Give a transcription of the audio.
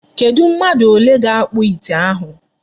Kedụ mmadụ ole ga-akpụ ite ahụ.